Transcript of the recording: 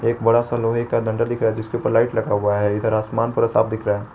एक बड़ा सा लोहे का डंडा दिख रहा है जिसके ऊपर लाइट लगा हुआ है इधर आसमान पूरा साफ दिख रहा--